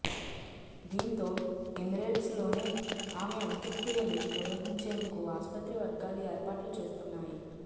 దీంతో ఎమిరేట్స్లోనే ఆమె అంత్యక్రియలు నిర్వహించేందుకు ఆస్పత్రి వర్గాలు ఏర్పాట్లు చేస్తున్నాయి